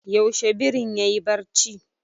Yaushe birin yayi barci?